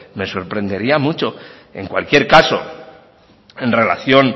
me sorprendería mucho en cualquier caso en relación